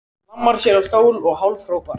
Hann hlammar sér á stól og hálfhrópar